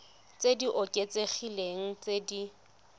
tse di oketsegileng tse di